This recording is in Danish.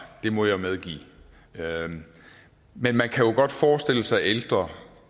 det må jeg medgive men man kan jo godt forestille sig ældre